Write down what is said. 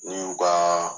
N'i y'u ka